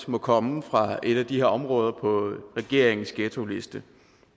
må komme fra et af de her områder på regeringens ghettoliste